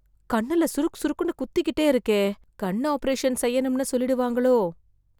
கண்ணுல சுருக் சுருக்குன்னு குத்திக்கிட்டே இருக்கே.... கண் ஆப்ரேஷன் செய்யணும்னு சொல்லிடுவாங்களோ...